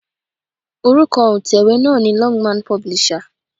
Orúkọ òǹtẹ̀wé náà ni Longman publisher.